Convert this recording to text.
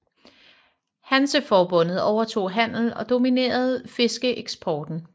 Hanseforbundet overtog handel og dominerede fiskeeksporten